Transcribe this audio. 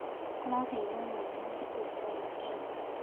Araheirwo mwana thikũ itarĩ nginyu.